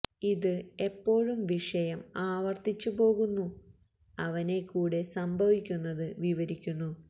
ഇത് എപ്പോഴും വിഷയം ആവർത്തിച്ച് പോകുന്നു അവനെ കൂടെ സംഭവിക്കുന്നത് വിവരിക്കുന്നു